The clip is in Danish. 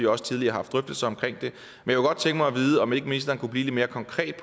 også tidligere haft drøftelser tænke mig at vide om ikke ministeren kunne blive lidt mere konkret